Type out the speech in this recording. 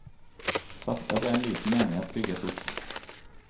Sakte ble en liten menighet bygget opp.